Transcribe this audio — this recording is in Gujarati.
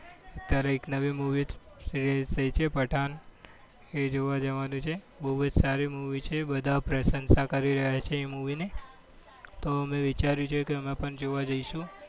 અત્યારે એક નવી movie release થઈ છે પઠાન. એ જોવા જવાનું છે. બહુ જ સારી movie છે. બધા પ્રશંસા કરી રહ્યા છે એ movie ને તો અમે વિચાર્યું છે કે અમે પણ જોવા જઈશું.